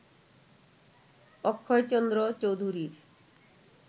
অক্ষয়চন্দ্র চৌধুরীর